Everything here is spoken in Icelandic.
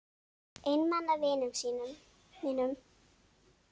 Einmana vinum mínum.